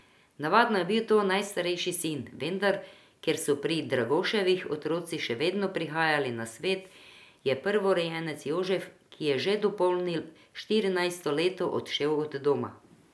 Navadno je bil to najstarejši sin, vendar, ker so pri Dragoševih otroci še vedno prihajali na svet, je prvorojenec Jožef, ki je že dopolnil štirinajsto leto odšel od doma.